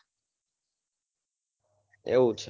એવું છે?